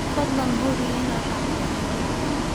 Fadlan hubi inaad raacdo xeerarka.